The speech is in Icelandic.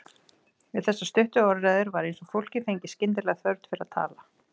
Við þessar stuttu orðræður var eins og fólkið fengi skyndilega þörf fyrir að tala.